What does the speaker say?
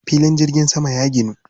Filin jirgin saman ya ginu.